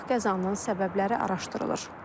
Qəzanın səbəbləri araşdırılır.